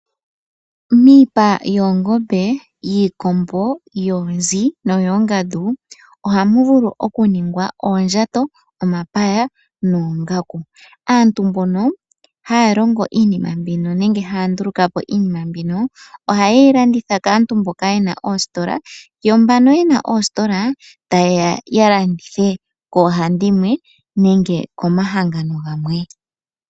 Miipa yoongombe, yiikombo, yoonzi noyoongandu ohamu vulu okuningwa oondjato, omapaya noongaku. Aantu mbono haya longo iinima mbino nenge haya ndulukapo iinima mbino ohayeyi landitha kaantu mboka yena oostola, yo mbano yena oostola tayeya ya landithe koohandimwe nenge komahangano gamwe.